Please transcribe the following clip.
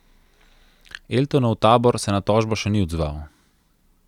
Eltonov tabor se na tožbo še ni odzval.